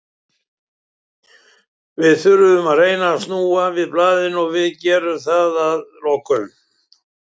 Við þurfum að reyna að snúa við blaðinu og við gerum það að lokum.